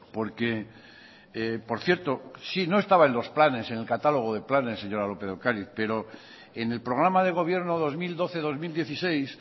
porque por cierto sí no estaba en los planes en el catálogo de planes señora lópez de ocariz pero en el programa de gobierno dos mil doce dos mil dieciséis